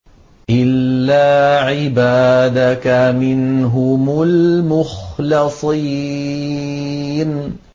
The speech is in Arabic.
إِلَّا عِبَادَكَ مِنْهُمُ الْمُخْلَصِينَ